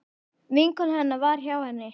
Vinkona hennar var hjá henni.